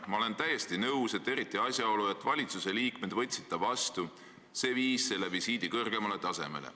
Ma olen täiesti nõus, et eriti asjaolu, et valituse liikmed võtsid ta vastu - see viis selle visiidi kõrgemale tasemele.